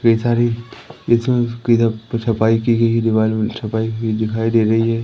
कई सारी इधर छपाई कि गई दिवाली मैं छपाई कि गई दिखाई दे रही हैं।